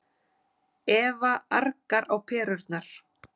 Eva argar á perurnar.